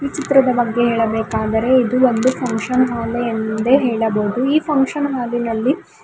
ಚಿತ್ರದ ಬಗ್ಗೆ ಹೇಳಬೇಕಾದರೆ ಇದು ಒಂದು ಫಂಕ್ಷನ್ ಹಾಲ್ ಎಂದೆ ಹೇಳಬಹುದು ಈ ಫಂಕ್ಷನ್ ಹಾಲಿ ನಲ್ಲಿ.